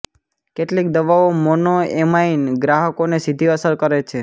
કેટલીક દવાઓ મોનોએમાઇન ગ્રાહકોને સીધી અસર કરે છે